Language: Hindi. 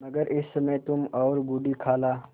मगर इस समय तुम और बूढ़ी खाला